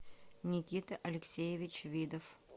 никита алексеевич видов